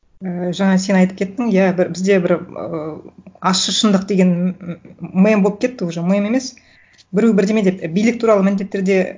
ііі жаңа сен айтып кеттің иә бізде бір ыыы ащы шындық деген мем болып кетті уже мем емес біреу бірдеме деп билік туралы міндетті түрде